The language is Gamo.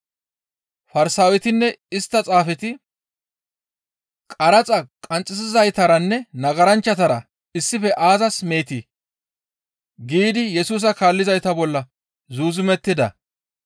Farsaawetinne istta Xaafeti, «Qaraxa qanxxisizaytaranne nagaranchchatara issife aazas meetii?» giidi Yesusa kaallizayta bolla zuuzumettida.